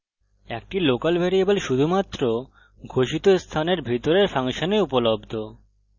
একটি local variable শুধুমাত্র ঘোষিত স্থানের ভিতরের ফাংশনে উপলব্ধ